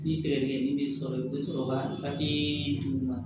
Ni tɛgɛ ni ne sɔrɔla u bɛ sɔrɔ ka d'u ma